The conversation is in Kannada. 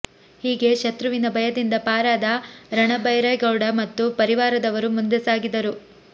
ಹೀಗೆ ಶತ್ರುವಿನ ಭಯದಿಂದ ಪಾರಾದ ರಣಭೈರೇಗೌಡ ಮತ್ತು ಪರಿವಾರದವರು ಮುಂದೆ ಸಾಗಿದರು